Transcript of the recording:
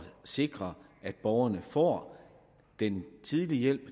sikre at borgerne får den tidlige hjælp og